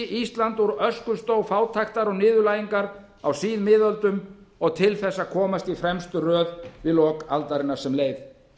ísland úr öskustó fátæktar og niðurlægingar á síðmiðöldum og til þess að komast í fremstu röð í lok aldarinnar sem leið